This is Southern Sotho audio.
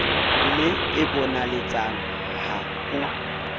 le e bonaletsang ha o